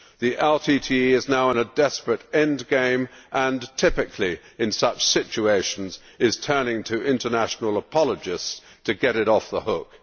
The LTTE is now in a desperate end game and, typically in such situations, is turning to international apologists to get it off the hook.